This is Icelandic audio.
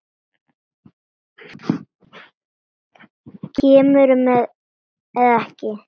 Kemurðu með eða ekki.